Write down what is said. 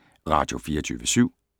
Radio24syv